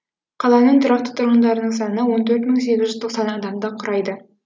қаланың тұрақты тұрғындарының саны он төрт мың сегіз жүз тоқсан адамды құрайды